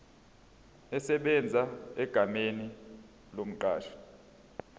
esebenza egameni lomqashi